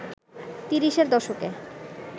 তিরিশের দশকে